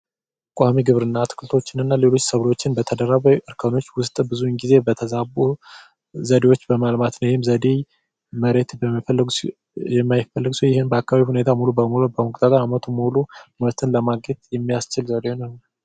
ቋሚ ግብርና አትክልቶችንና ሌሎችንም ሰብሎችን ውስጥ ብዙ ጊዜ እንስሳት በማርባት ዘዴ ይህም ዘዴ የማይፈለግ ሲሆን በአካባቢ ሁኔታ ሙሉ በሙሉ ዓመቱን ሙሉ ምርት ለማካሄድ የሚያስችል ዘዴ ነው።